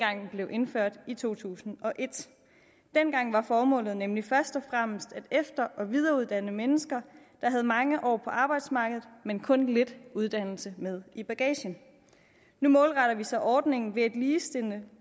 blev indført i to tusind og et dengang var formålet nemlig først og fremmest at efter og videreuddanne mennesker der havde mange år på arbejdsmarkedet men kun lidt uddannelse med i bagagen nu målretter vi så ordningen ved at ligestille